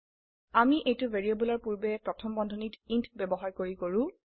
আমি এইটো ভ্যাৰিয়েবলৰ পূৰ্বে প্ৰথম বন্ধনীত ইণ্ট ব্যবহাৰ কৰি কৰো